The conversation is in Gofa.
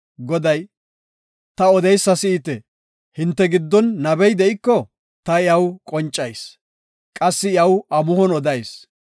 Goday, “Ta odeysa si7ite; hinte giddon nabey de7iko, ta iyaw qoncayis; qassi iyaw amuhon odayis.